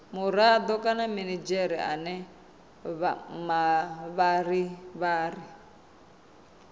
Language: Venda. murado kana minidzhere ane mavharivhari